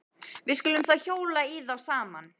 Við skulum þá hjóla í þá saman.